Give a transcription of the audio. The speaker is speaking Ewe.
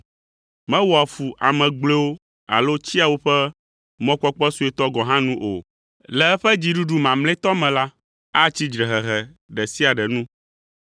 Mewɔa fu ame gblɔewo alo tsia woƒe mɔkpɔkpɔ suetɔ gɔ̃ hã nu o. Le eƒe dziɖuɖu mamlɛtɔ me la, atsi dzrehehe ɖe sia ɖe nu,